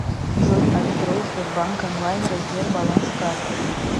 джой открой сбербанк онлайн раздел баланс карты